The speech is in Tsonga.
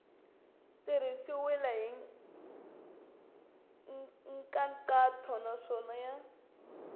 tirhisiwile hi nkhaqato naswona ya